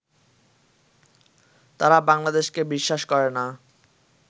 তারা বাংলাদেশকে বিশ্বাস করে না